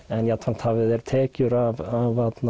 en jafnframt hafi þeir tekjur af